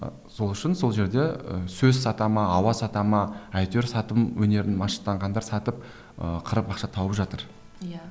ы сол үшін сол жерде ы сөз сата ма ауа сата ма әйтеуір сатылым өнерін машықтанғандар сатып ы қырып ақша тауып жатыр иә